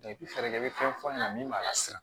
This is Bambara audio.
fɛɛrɛ bɛ fɛn fɔ an ɲɛna min b'a la siran